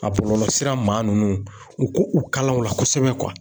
A bɔlɔlɔsira maa ninnu u k'u kala u la kosɛbɛ kuwa.